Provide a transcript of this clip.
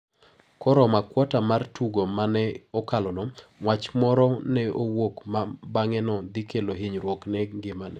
Koromo akuota mar tugo ma ne okalono, wach moro ne owuok ma bang`e ne dhikelo hinyruok ne ngimane.